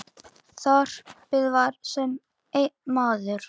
Þorpið var sem einn maður.